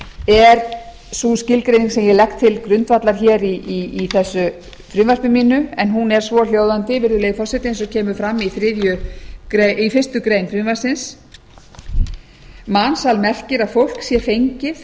er sú skilgreining sem ég legg til grundvallar hér í þessu frumvarpi mínu en hún er svohljóðandi virðulegi forseti eins og kemur fram í fimmtu grein frumvarpsins mansal merkir að fólk sé fengið